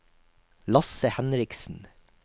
Lasse Henriksen